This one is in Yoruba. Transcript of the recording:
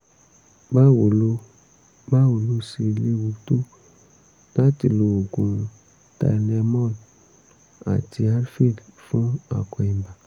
báwo ló báwo ló ṣe léwu tó láti lo oògùn tylenol àti advil fún akọ ibà?